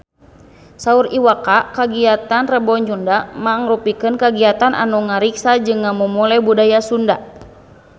Saur Iwa K kagiatan Rebo Nyunda mangrupikeun kagiatan anu ngariksa jeung ngamumule budaya Sunda